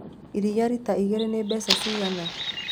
Iria rita igĩrĩ nĩ mbeca cigana